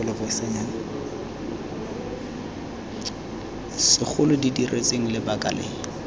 segolo di diretsweng lebaka le